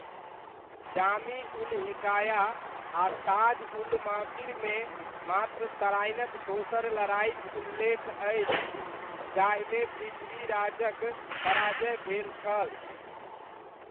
जामी उल हिकाया आ ताज उल मासीरमे मात्र तराइनक दोसर लड़ाइक उल्लेख अछि जाहिमे पृथ्वीराजक पराजय भेल छल।